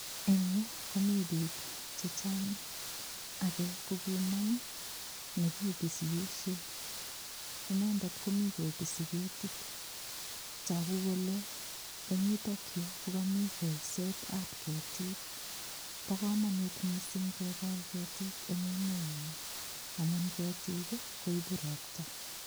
Eng yu komi biik che chang. Age ko kinam nekipisisie. Inendet komi kopisi ketit. Tagu kole eng yutok yu ko kami kolset ab ketiik. Bo kamanut mising kemin ketiik eng emenyo amu ketiik koibu ropta.